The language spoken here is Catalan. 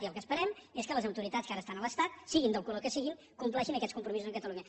i el que esperem és que les autoritats que ara estan a l’estat siguin del color que siguin compleixin aquests compromisos amb catalunya